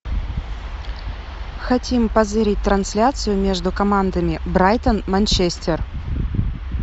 хотим позырить трансляцию между командами брайтон манчестер